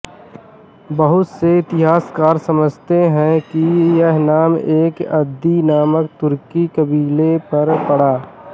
बहुत से इतिहासकार समझते हैं कि यह नाम एक अन्दी नामक तुर्की क़बीले पर पड़ा